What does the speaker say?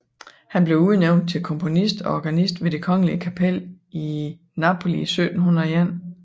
Han blev udnævnt til komponist og organist ved det kongelige kapel i Napoli i 1701